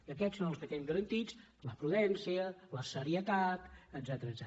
i aquests són els que tenim garantits la prudència la serietat etcètera